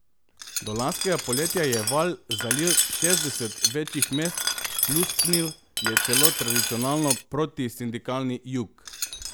Do lanskega poletja je val zalil šestdeset večjih mest, pljusknil je celo v tradicionalno protisindikalni Jug.